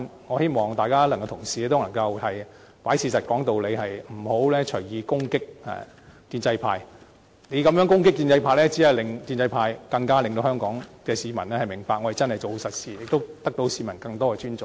我希望同事能夠看事實說道理，不要隨意攻擊建制派，你這樣攻擊建制派，只會令香港市民更加明白建制派真的是做實事，亦會獲得市民更多的尊重。